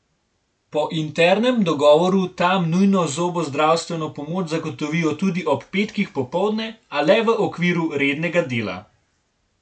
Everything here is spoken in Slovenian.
Po internem dogovoru tam nujno zobozdravstveno pomoč zagotovijo tudi ob petkih popoldne, a le v okviru rednega dela.